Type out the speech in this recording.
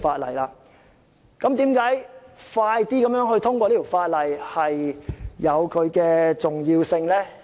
為甚麼盡快通過《條例草案》如此重要呢？